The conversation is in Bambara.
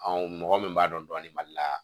mɔgɔ min b'a dɔn dɔni mali la